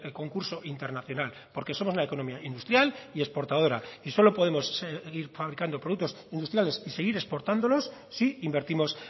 concurso internacional porque somos una economía industrial y exportadora y solo podemos seguir fabricando productos industriales y seguir exportándolos si invertimos